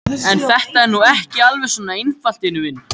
En þetta er nú ekki alveg svona einfalt, vinur minn.